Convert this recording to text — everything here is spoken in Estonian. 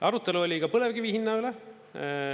Arutelu oli ka põlevkivi hinna üle.